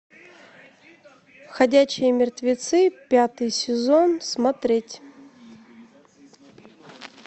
ходячие мертвецы пятый сезон смотреть